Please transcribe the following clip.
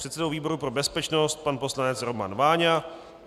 předsedou výboru pro bezpečnost pan poslanec Roman Váňa,